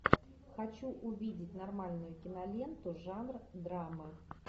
хочу увидеть нормальную киноленту жанр драма